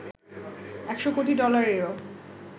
১০০ কোটি ডলারেরও